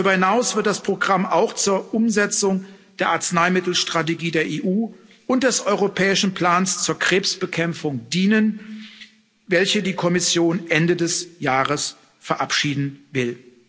Darüber hinaus wird das Programm auch zur Umsetzung der Arzneimittelstrategie der EU und des europäischen Plans zur Krebsbekämpfung dienen, die die Kommission Ende des Jahres verabschieden will.